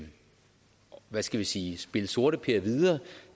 hvad skal vi sige spille sorteper videre